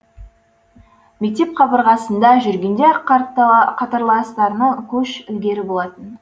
мектеп қабырғасында жүргенде ақ қатарластарынан көш ілгері болатын